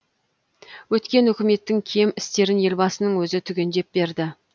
өткен үкіметтің кем істерін елбасының өзі түгендеп берді